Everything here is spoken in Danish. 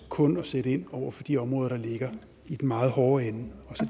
kun at sætte ind over for de områder der ligger i den meget hårde ende